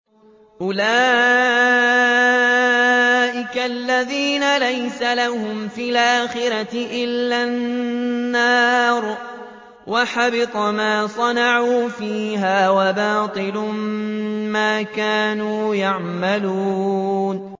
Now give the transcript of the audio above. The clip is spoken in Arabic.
أُولَٰئِكَ الَّذِينَ لَيْسَ لَهُمْ فِي الْآخِرَةِ إِلَّا النَّارُ ۖ وَحَبِطَ مَا صَنَعُوا فِيهَا وَبَاطِلٌ مَّا كَانُوا يَعْمَلُونَ